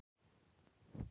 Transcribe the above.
ÞAÐ ER ALLT Í LAGI!